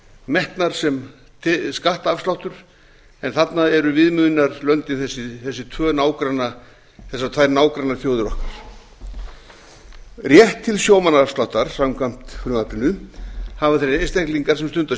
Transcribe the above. metnar sem skattafsláttur en þarna eru viðmiðunarlöndin þessar tvær nágrannaþjóðir okkar rétt til sjómannaafsláttar samkvæmt frumvarpinu hafa þeir einstaklingar sem stunda